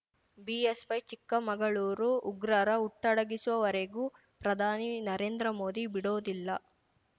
BSY Chikkamagaluru ಉಗ್ರರ ಹುಟ್ಟಡಗಿಸೋವರೆಗೂ ಪ್ರಧಾನಿ ನರೇಂದ್ರ ಮೋದಿ ಬಿಡೋದಿಲ್ಲ